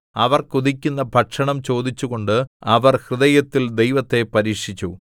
അവർ കൊതിക്കുന്ന ഭക്ഷണം ചോദിച്ചു കൊണ്ട് അവർ ഹൃദയത്തിൽ ദൈവത്തെ പരീക്ഷിച്ചു